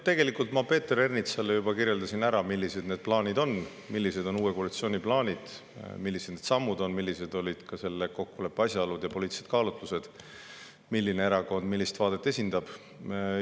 Tegelikult ma Peeter Ernitsale juba kirjeldasin, millised on uue koalitsiooni plaanid, millised on sammud, millised olid selle kokkuleppe asjaolud ja poliitilised kaalutlused, milline erakond millist vaadet esindab.